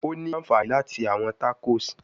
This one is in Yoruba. O ni anfani lati ṣe awọn tacos